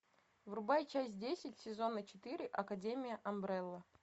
врубай часть десять сезона четыре академия амбрелла